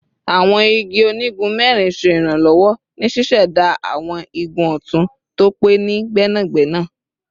Awọn igun onigun mẹrin ṣe iranlọwọ ni ṣiṣẹda awọn igun ọtun to pe ni gbẹnagbẹna